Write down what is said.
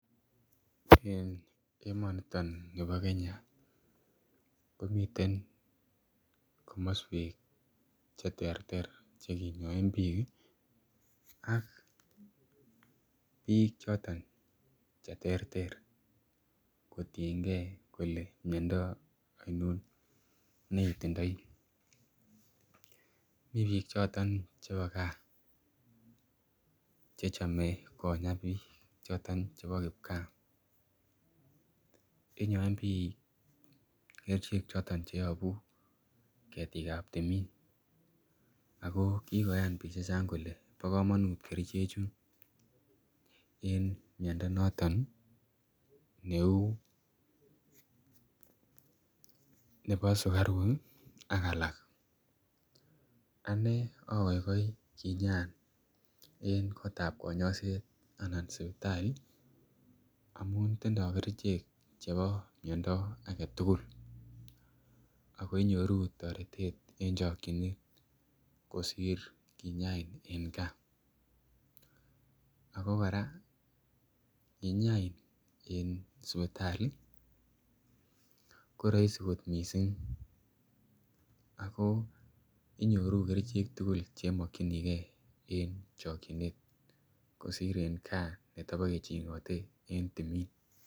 Eng emoniton nebo Kenya komiten komoswek cheterter chekinyoen biik ak biik choton che ter ter kotiengei kole miondo aino neitindoi mii biik choton chebo gaa che chomei Konya biik choton chebo kipkaa inyoen biik kerchek choton cheyobu ketik ap timin ako kikoyan biik chechang kole bo komonut kerchechu en miondo noton neu nebo sukarok ak alak ane akoikoi kinyaan eng koot ap konyoiset anan sipitali amun tindoi kerchek chebo miondo age tugul ako inyoru toretet eng chokchinet kosir kinyain eng gaa ako kora kinyain eng sipitali koraisi kot mising ako inyoru kerichek tugul chemakchinigei eng chokchinet kosir eng gaa netepeke chengatei eng timin.